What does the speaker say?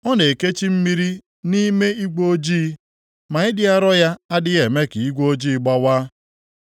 Ọ na-ekechi mmiri nʼime igwe ojii, ma ịdị arọ ya adịghị eme ka igwe ojii gbawaa.